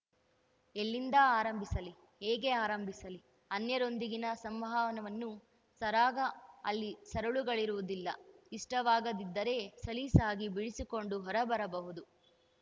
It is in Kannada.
ಎಲ್ಲಿಂದ ಆರಂಭಿಸಲಿ ಹೇಗೆ ಆರಂಭಿಸಲಿ ಅನ್ಯರೊಂದಿಗಿನ ಸಂವಹನವು ಸರಾಗ ಅಲ್ಲಿ ಸರಳುಗಳಿರುವುದಿಲ್ಲ ಇಷ್ಟವಾಗದಿದ್ದರೆ ಸಲೀಸಾಗಿ ಬಿಡಿಸಿಕೊಂಡು ಹೊರಬರಬಹುದು